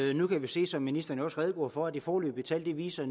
og nu kan vi se som ministeren også redegjorde for at de foreløbige tal viser